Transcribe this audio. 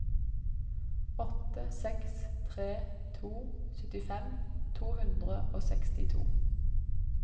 åtte seks tre to syttifem to hundre og sekstito